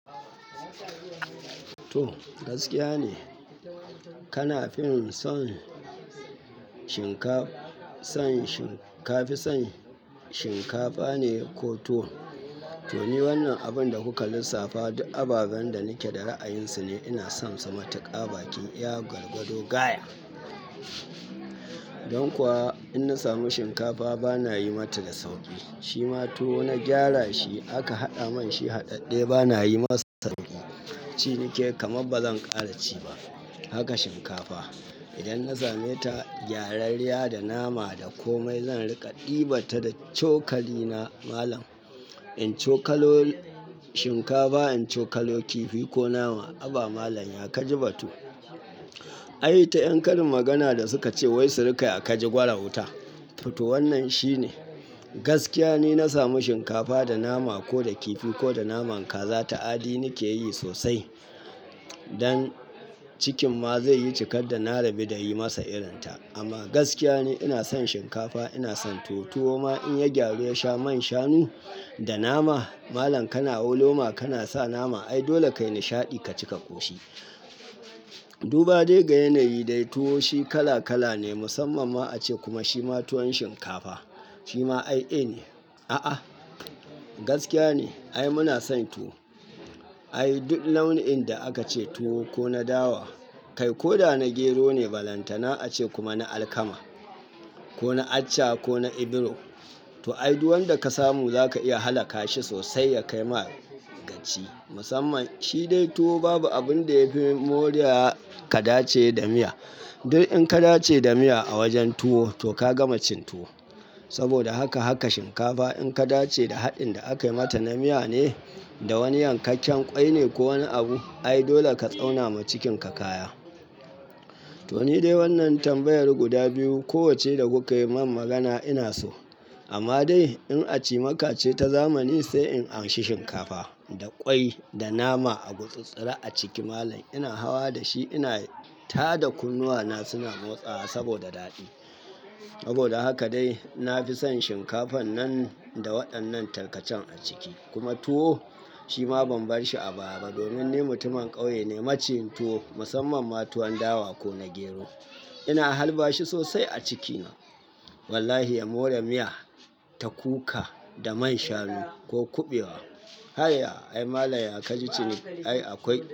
To gaskiya ne. Kana fim san shinkafa, ka fi son shinkafa ne ko tuwo? To ni wannan abun da kuka lissafa duk ababen da nake da ra'ayinsu ne. Ina son su matuƙa bakin iya gwargwado gaya. Don kuwa in na samu shinkafa bana yi mata da sauƙi. Shi ma tuwo na gyara shi aka haɗa man shi haɗaɗɗe bana yi masa sauki. Cinike kama bazan ƙara ci ba. Haka shinkafa idan na same ta gyarariya da nama da komai zan rika ɗibata da cokali na malam. In cokalo shinkafa in cokalo kifi ko nama. Haba malam ya kaji bato. Ai ita yan karin magana da suka ce wai su riƙa ya kaji gwara wuta. To to wannan shi ne gaskiya ni na samu shinkafa da nama ko da kifi ko da naman kaza ta aɗi nake yi sosai. Don cikin ma zai yi cikar da na rabi da yi masa irin ta. Amma gaskiya ne ina son shinkafa ina son tuwo ma in ya gyaru ya sha man shanu da nama. Malam kana wo loma kana sa nama. Ai dole kai nishaɗi ka cika ƙoshi. Duba dai ga yanayi dai tuwo shi kala kala ne musamman ma a ce kuma shi ma tuwon shinkafa. Shi ma ai e ne. A'a gaskiya ne. Ai muna son tuwo. Ai duk launin da aka ce tuwo ko na dawa kai ko da na gero ne balantana ace kuma na alkama ko na accha ko na ibiro. To ai duwan da ka samu zaka iya halaka shi sosai ya kai ma gaci. Musamman shi dai tuwo babu abun da ya fi moriya ka dace da miya. Duk in ka dace da miya a wajen tuwo to ka gama cin tuwo. Saboda haka haka shinkafa in ka dace da haɗin da aka yi mata na miya ne da wani yankakken ƙwai ne ko wani abu. Ai dole ka tsauna ma cikinka kaya. To ni dai wannan tambayar guda biyu ko wacce da kuka yi min magana ina so. Amma dai in a ci maka ce ta zamani sai in an shi shinkafa da ƙwai da nama a gutsattsara a ciki. Malam ina hawa da shi ina tada kunnuwana suna motsawa saboda daɗi. Saboda haka dai na fi son shinkafan nan da waɗannan tarkacen a ciki. Kuma tuwo shi ma ban bar shi a baba domin ni mutumin ƙauye ne. Maci yin tuwo musamman ma tuwon dawa ko na gero ina halba shi sosai a cikina. Wallahi ya more miya ta kuka da man shanu ko kuɓewa. Hayya ai malam ya kaji ciniki ai akwai.